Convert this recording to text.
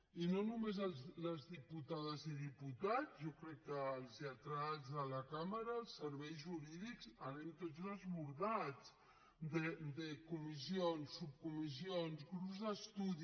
i no només les diputades i diputats jo crec que els lletrats de la cambra els serveis jurídics anem tots desbordats de comissions subcomissions grups d’estudi